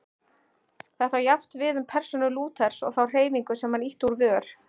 Þetta á jafnt við um persónu Lúthers og þá hreyfingu sem hann ýtti úr vör.